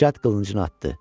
Cəld qılıncını atdı.